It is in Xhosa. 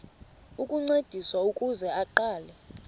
ukuncediswa ukuze aqale